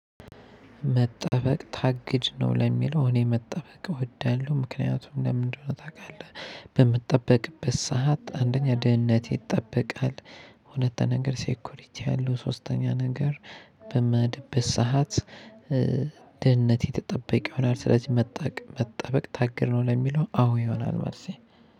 መጠበቅ ታግድ ነው ለሚለው እኔ መጠበቅ እወዳለሁ ምክንያቱም ለምንድነው ታውቃለህ በምትጠበቅበት ሰዓት አንደኛ ድህነት ይጠበቃል። እውነት ነገር ሴክዩሪቲ አለው ሶስተኛ ነገር። በምሄድበት ሰዓት። ድህነት የተጠበቀ ይሆናል ስለዚህ መጠበቅ ታገር ነው። ለሚለው አዎ ይሆናል ማለት ነው።